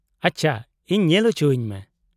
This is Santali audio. -ᱟᱪᱪᱷᱟ, ᱤᱧ ᱧᱮᱞ ᱚᱪᱚᱣᱚᱧ ᱢᱮ ᱾